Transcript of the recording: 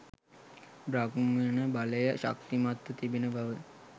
බ්‍රාහ්මණ බලය ශක්තිමත් ව තිබුණු බව